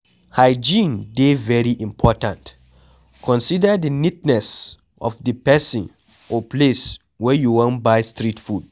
Hygiene dey very important, consider di neatness of di person or place where you wan buy street food